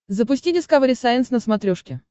запусти дискавери сайенс на смотрешке